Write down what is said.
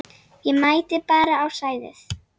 Ég mæti bara á svæðið.